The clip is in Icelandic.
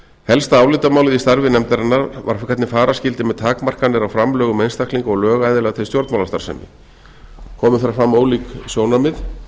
helsta álitamálið í starfi nefndarinnar var hvernig fara skyldi með takmarkanir á framlögum einstaklinga og lögaðila til stjórnmálastarfsemi komu þar fram ólík sjónarmið